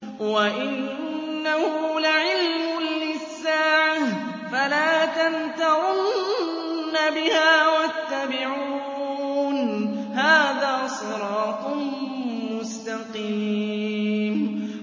وَإِنَّهُ لَعِلْمٌ لِّلسَّاعَةِ فَلَا تَمْتَرُنَّ بِهَا وَاتَّبِعُونِ ۚ هَٰذَا صِرَاطٌ مُّسْتَقِيمٌ